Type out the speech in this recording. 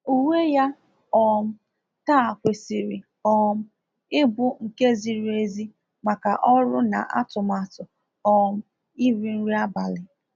Uwe ya um taa kwesiri um ịbụ nke ziri ezi maka ọrụ na atụmatụ um iri nri abalị.